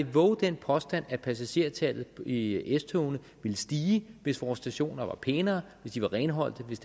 vove den påstand at passagertallet i s togene ville stige hvis vores stationer var pænere hvis de var renholdte hvis